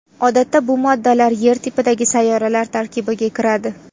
Odatda bu moddalar Yer tipidagi sayyoralar tarkibiga kiradi.